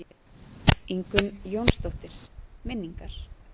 Ingunn Jónsdóttir: Minningar.